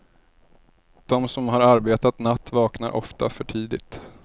De som har arbetat natt vaknar ofta för tidigt.